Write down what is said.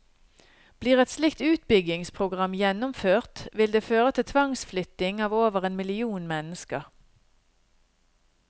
Blir et slikt utbyggingsprogram gjennomført vil det føre til tvangsflytting av over en million mennesker.